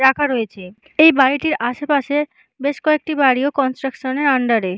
রাখা রয়েছে। এই বাড়িটির আশেপাশের বেশ কয়েকটি বাড়ি ও কনস্ট্রাকশন -এর আন্ডার -এ।